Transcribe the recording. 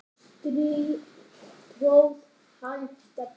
strý tróð hann Stebbi